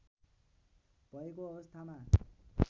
भएको अवस्थामा